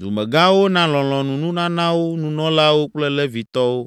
Dumegãwo na lɔlɔ̃nununanawo nunɔlawo kple Levitɔwo.